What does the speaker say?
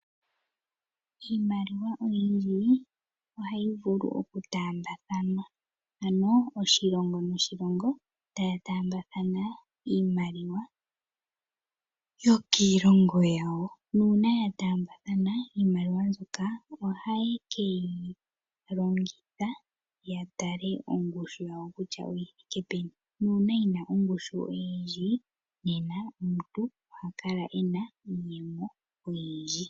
Iimaliwa oyindji ohayi vulu oku taa mbathanwa . Ano oshilongo noshilongo taya taambathana iimaliwa yokiilongo yawo . Nuuna yataa mbathana iimaliwa mbyoka ohayi keyilongitha yatale ongushu yawo kutya oyi thike peni, nuuna yina ongushu oyindji ne na omuntu ohakala ena iiyemo oyindji.